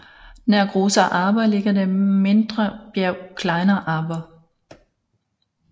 Nær Großer Arber ligger det mindre bjerg Kleiner Arber